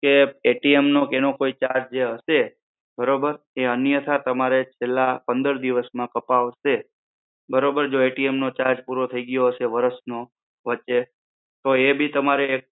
તે નો તેનો કોઈ charge જે હશે બરોબર? અન્યથા તમારે પેલા પંદર દિવસ માં કપાવશે બરોબર જો નો charge પૂરો થઈ ગયો હશે વરસ નો વચ્ચે તો એ બી તમરે